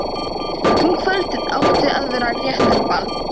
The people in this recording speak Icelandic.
Um kvöldið átti að vera réttarball.